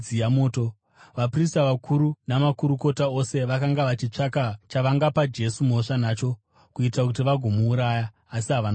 Vaprista vakuru namakurukota ose vakanga vachitsvaka chavangapa Jesu mhosva nacho kuitira kuti vagomuuraya, asi havana kuwana chinhu.